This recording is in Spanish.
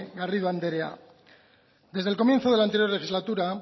garrido anderea desde el comienzo del anterior legislatura